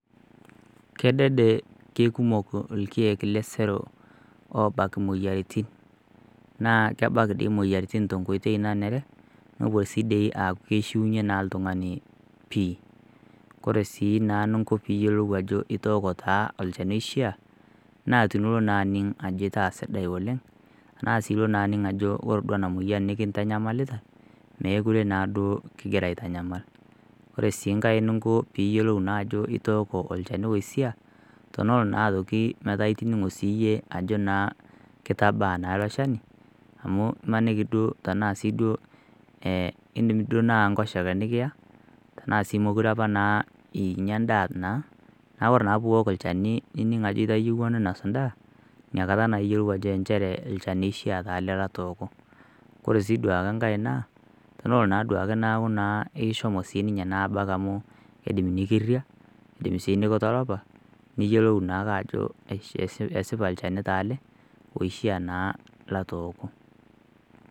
Kedede keikumok irkiek lesero oobak imoyiaritin naa kebak doi imoyiaritin tenkoitoi nenare nepuo sii dii aaku keishuunyie naa oltung'ani pih kore sii naa eninko peeiyiolou ajo itooki olchani oishiia tenilo naa aning ajo ore duo ena moyian nikintanyamalita meekure naaduo kingira aitanyamal ore sii nkae ninko peeiyiolou ajo itooko olchani oishia tenelo naa aitoki metaa itining'o siiyie ajo naa kitaabaa iloshani amu imaniki siiduo amu indiim tenaa enkoshoke nikiya naa sii meekure apa inyia endaa naa ore naa peiok olchani ninik ajo itayieua ninosi endaa